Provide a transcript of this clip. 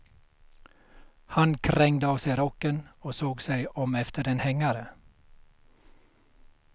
Han krängde av sig rocken och såg sig om efter en hängare.